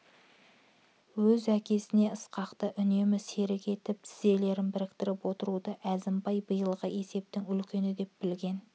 өз әкесіне ысқақты үнемі серік етіп тізелерін біріктіріп отыруды әзімбай биылғы есептің үлкені деп білген